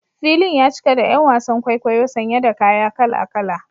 Filin ya cika da ’yan wasan kwaikwayo sanye da kaya kala-kala.